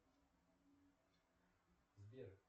сбер